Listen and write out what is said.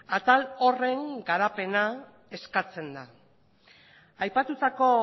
atal horren garapena eskatzen da aipatutako